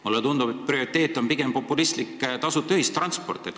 Mulle tundub, et prioriteet on populistlik tasuta ühistransport.